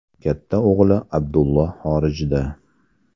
Katta o‘g‘li Abdullo xorijda.